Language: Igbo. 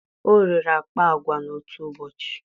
o rere akpa agwa n'otu ụbọchị